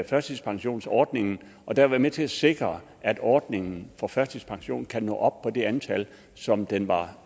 førtidspensionsordningen og derved være med til at sikre at ordningen for førtidspension kan nå op på det antal som den var